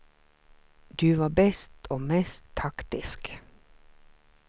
Du var bäst och mest taktisk.